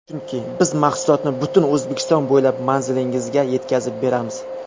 Chunki: - Biz mahsulotni butun O‘zbekiston bo‘ylab manzilingizga yetkazib beramiz!